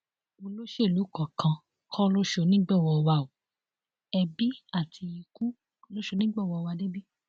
olóṣèlú kankan kò ṣonígbọwọ wa o ẹbí àti ikú ló ṣonígbọwọ wa débi